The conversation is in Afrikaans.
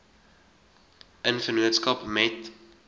in vennootskap met